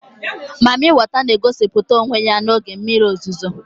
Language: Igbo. Mami weta n'egosịpụta onwe ya n'oge mmiri ozizo